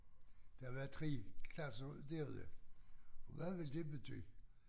Der var 3 klasser derude og hvad vil det betyde?